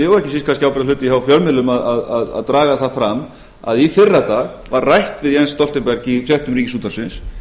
og ekki síst kannski ábyrgðarhluti hjá fjölmiðlum að draga það fram að í fyrradag var rætt við jens stoltenberg í fréttum ríkisútvarpsins